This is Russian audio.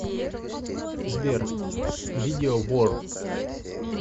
сбер видео вор